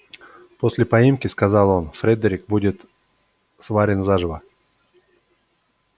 после поимки сказал он фредерик будет сварен заживо